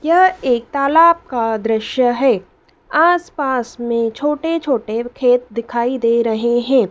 यह एक तालाब का दृश्य है आसपास में छोटे छोटे खेत दिखाई दे रहे हैं।